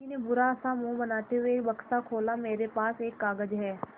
मुखर्जी ने बुरा सा मुँह बनाते हुए बक्सा खोला मेरे पास एक कागज़ है